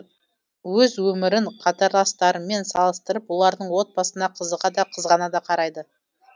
өз өмірін қатарластарымен салыстырып олардың отбасына қызыға да қызғана қарайды